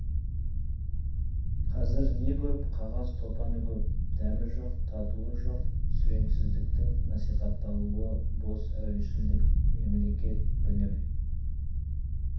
қазір не көп қағаз топаны көп дәмі жоқ татуы жоқ сүреңсіздіктің насихатталуы бос әурешілдік мемлекет білім